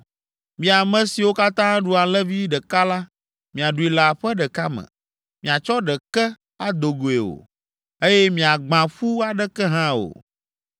Mi ame siwo katã aɖu alẽvi ɖeka la, miaɖui le aƒe ɖeka me: miatsɔ ɖeke ado goe o, eye miagbã ƒu aɖeke hã o.